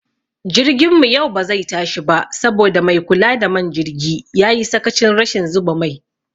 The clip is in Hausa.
Jirgin mu yau bazai tashi ba saboda maikula da man jirgi yayi sakachin rashin zuba mai